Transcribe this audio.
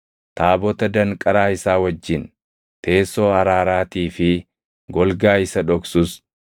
taabota danqaraa isaa wajjin, teessoo araaraatii fi golgaa isa dhoksus,